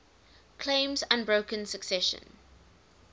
claims unbroken succession